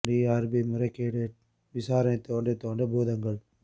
D R P முறைகேடும் விசாரணை தோண்டத் தோண்ட பூதங்கள்